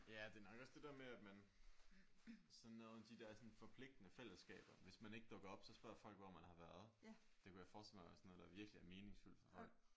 Ja det er nok også det der med at man sådan noget med de der sådan forpligtende fællesskaber. Hvis man ikke dukker op så spørger folk hvor man har været. Det kunne jeg forestille mig var sådan noget der virkelig er meningsfyldt for folk